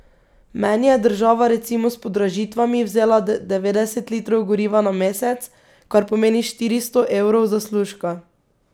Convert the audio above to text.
Meni je država recimo s podražitvami vzela devetdeset litrov goriva na mesec, kar pomeni štiristo evrov zaslužka.